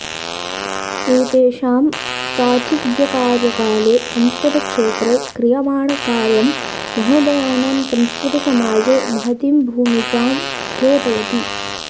एतेषां साचिव्यकार्यकाले संस्कृतक्षेत्रे क्रियमाणकार्यं महोदयानां संस्कृतसमाजे महतीं भूमिकां द्योतयति